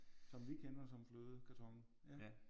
Som vi kender som flødekarton ja